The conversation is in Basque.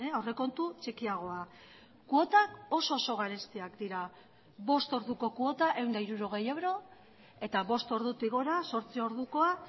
aurrekontu txikiagoa kuotak oso oso garestiak dira bost orduko kuota ehun eta hirurogei euro eta bost ordutik gora zortzi ordukoa